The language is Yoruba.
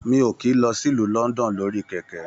Mi o kìí lọ sí ìlú London lórí kẹkẹ.